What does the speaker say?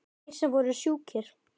Þeir sem voru sjúkir.